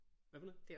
Hvad for noget?